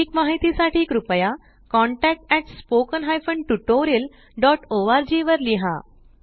अधिक माहिती साठी कृपया contactspoken tutorialorg वर लिहा